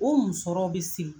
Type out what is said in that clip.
O musɔrɔw be siri